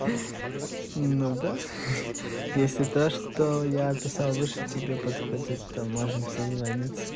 ну да ха-ха если то что я писал выше тебе подходит то можем созвониться